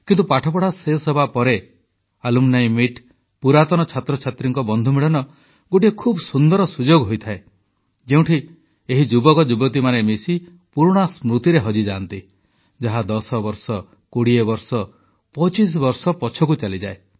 କିନ୍ତୁ ପାଠପଢ଼ା ଶେଷ ହେବା ପରେ ଆଲୁମ୍ନି ମିଟ୍ ପୁରାତନ ଛାତ୍ରଛାତ୍ରୀଙ୍କ ବନ୍ଧୁମିଳନ ଗୋଟିଏ ଖୁବ ସୁନ୍ଦର ସୁଯୋଗ ହୋଇଥାଏ ଯେଉଁଠି ଏହି ଯୁବକଯୁବତୀମାନେ ମିଶି ପୁରୁଣା ସ୍ମୃତିରେ ହଜିଯାଆନ୍ତି ଯାହା 10ବର୍ଷ 20 ବର୍ଷ 25ବର୍ଷ ପଛକୁ ଚାଲିଯାଏ